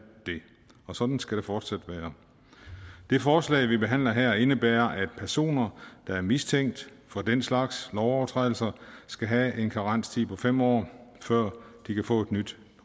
og sådan skal det fortsat være det forslag vi behandler her indebærer at personer der er mistænkt for den slags lovovertrædelser skal have en karenstid på fem år før de kan få et nyt